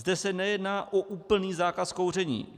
Zde se nejedná o úplný zákaz kouření.